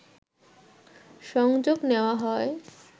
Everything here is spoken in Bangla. সংযোগ নেওয়া হয়